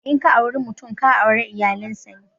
In ka auri mutum, ka aure iyalan sa ne.